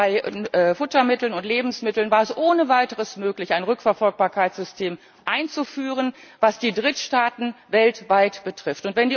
Bei Futtermitteln und Lebensmitteln war es ohne weiteres möglich, ein Rückverfolgbarkeitssystem einzuführen, was die Drittstaaten weltweit betrifft.